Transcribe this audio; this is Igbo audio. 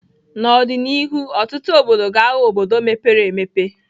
N'ọdịnihu ọtụtụ obodo ga-aghọ obodo mepere emepe.